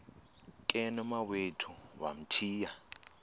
ke nomawethu wamthiya